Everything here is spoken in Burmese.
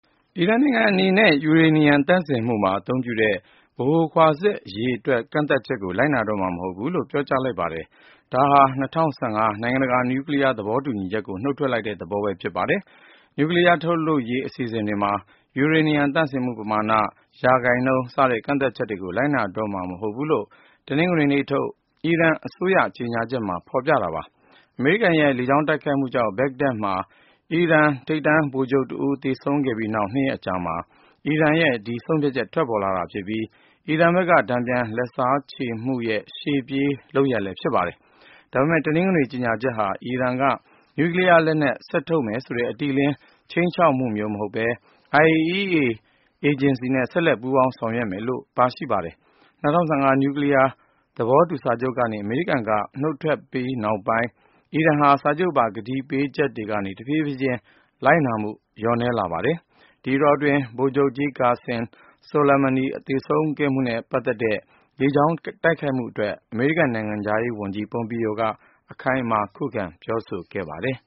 အီရန်နိုင်ငံအနေနဲ့ ယူရေနီယံ သန့်စင်မှုမှာ အသုံးပြုတဲ့ ဗဟိုခွာစက် အရေအတွက် ကန့်သတ်ချက်ကို လိုက်နာတော့မှာ မဟုတ်ဘူးလို့ ပြောကြားလိုက်ပါတယ်။ ဒါဟာ ၂၀၁၅ နိုင်ငံတကာ နျူကလီးယား သဘောတူညီချက်ကို နုတ်ထွက်လိုက်တဲ့သဘောပဲ ဖြစ်ပါတယ်။ နျူကလီးယားထုတ်လုပ်ရေး အစီအစဉ်တွေမှာ ယူရေနီယံသန့်စင်မှု ပမာဏ၊ ရာခိုင်နှုန်း စတဲ့ ကန့်သတ်ချက်ကို လိုက်နာတော့မှာ မဟုတ်ဘူးလို့ တနင်္ဂနွေနေ့ထုတ် အီရန်အစိုးရ ကြေညာချက်မှာ ဖော်ပြထားပါတယ်။ အမေရိကန်ရဲ့ လေကြောင်းတိုက်ခိုက်မှုကြောင့် ဘဂ္ဂဒက်မြို့မှာ အီရန် ထိပ်တန်းဗိုလ်ချုပ်တဦးဖြစ်တဲ့ Qassem Soleimani သေဆုံးခဲ့ပြီးနောက် ၂ ရက်အကြာမှာ အီရန်ရဲ့ ဒီဆုံးဖြတ်ချက် ထွက်ပေါ်လာတာဖြစ်ပြီး အီရန်ဘက်က တန်ပြန်လက်စားချေမှုရဲ့ ရှေ့ပြေးလုပ်ရပ်လည်း ဖြစ်ပါတယ်။ ဒါပေမယ့် တနင်္ဂနွေ ကြေညာချက်ဟာ အီရန်က နျူကလီးယားလက်နက် ဆက်ထုတ်မယ်ဆိုတဲ့ အတိအလင်း ခြိမ်းခြောက်မှုမျိုး မဟုတ်ဘဲ IAEA နိုင်ငံတကာ အဏုမြူအေဂျင်စီနဲ့ ဆက်လက်ပူးပေါင်း ဆောင်ရွက်မယ်လို့ ပါရှိပါတယ်။ ၂၀၁၅ နျူကလီးယား သဘောတူစာချုပ်ကနေ အမေရိကန်က နုတ်ထွက်ပြီးနောက်ပိုင်း အီရန်ဟာ စာချုပ်ပါ ကတိပေးချက်တွေကနေ တဖြည်းဖြည်းချင်း လိုက်နာမှု လျော့လာပါတယ်။ ဒီအတောအတွင်း ဗိုလ်ချုပ်ကြီး Qassem Soleimani သေဆုံးခဲ့မှုနဲ့ ပတ်သက်တဲ့ လေကြောင်းတိုက်ခိုက်မှုအတွက် အမေရိကန် နိုင်ငံခြားရေးဝန်ကြီး Pompeo က အခိုင်အမာ ခုခံပြောဆိုခဲ့ပါတယ်